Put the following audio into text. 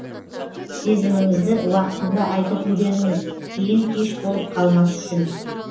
сезіміңізді уақытында айтып үйреніңіз кейін кеш болып қалмас үшін